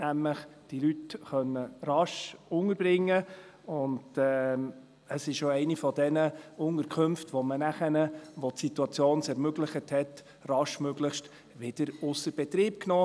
Man konnte die Leute nämlich rasch unterbringen, und es war auch eine dieser Unterkünfte, die man nachher, als es die Situation ermöglichte, schnellstmöglich wieder ausser Betrieb nahm.